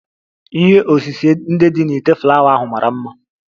Ihe osise ndị dị na ite flawa ahụ mara mma